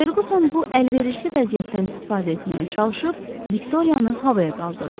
Ferquson bu əlverişli vəziyyətdən istifadə etməyə çalışıb Viktoriyanı havaya qaldırdı.